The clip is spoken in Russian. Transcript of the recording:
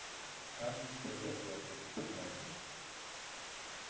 скарлетт следовало бы обратиться к матери